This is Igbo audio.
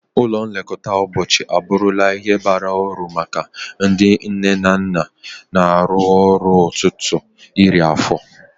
Ụlọ nlekọta ụbọchị abụrụla ihe bara uru maka ndị nne na nna na-arụ ọrụ ruo ọtụtụ iri afọ.